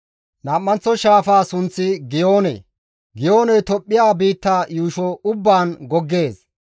Nam7anththo shaafaa sunththi Giyoone; Giyooney Tophphiya biitta yuusho ubbaan goggees.